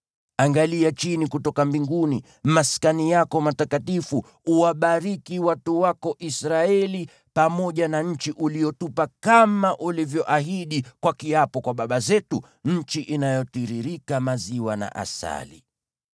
Angalia chini kutoka mbinguni, maskani yako matakatifu, uwabariki watu wako Israeli pamoja na nchi uliyotupa kama ulivyoahidi kwa kiapo kwa baba zetu, nchi inayotiririka maziwa na asali.”